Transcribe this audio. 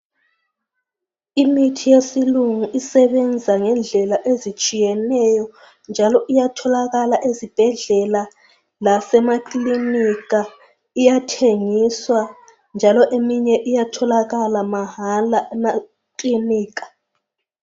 Imithi yesilungu esebenza ngendlela ezitshiyeneyo njalo iyatholakala ezibhedlela lasemakilinika, iyathengiswa njalo eminye iyatholakala mahala emakilinika.